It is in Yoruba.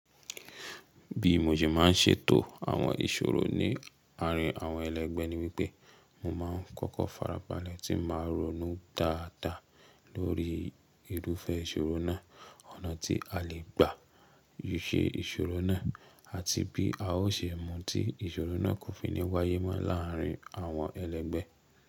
Bí mo ṣe má ń ṣètò àwọn ìṣòro ní àárín àwọn ẹlẹ́gbẹ́ ni wípé, mo má ń kọ́kọ́ farabalẹ́ tí mà ronu dáadáa lórí irúfẹ́ ìṣòro náà, ọ̀nà tí a lè gbà yí ṣé ìṣòro náà àti bí a ó ṣe mú tí ìṣòro náà kò fi ní wáyé mọ́ láàárín àwọn ẹlẹ́gbẹ́.